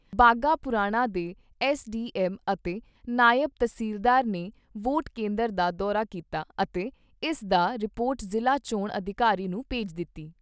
ਬਾਘਾ ਪੁਰਾਣਾ ਦੇ S D M ਅਤੇ ਨਾਇਬ ਤਸੀਲਦਾਰ ਨੇ ਵੋਟ ਕੇਂਦਰ ਦਾ ਦੌਰਾ ਕੀਤਾ ਅਤੇ ਇਸ ਦਾ ਰਿਪੋਰਟ ਜ਼ਿਲ੍ਹਾ ਚੋਣ ਅਧਿਕਾਰੀ ਨੂੰ ਭੇਜ ਦਿੱਤੀ।